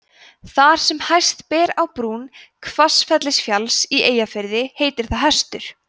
þar sem hæst ber á brún hvassafellsfjalls í eyjafirði heitir það hestur